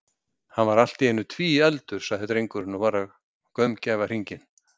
Hann er allt í einu tvíefldur, sagði drengurinn og var að gaumgæfa hringinn.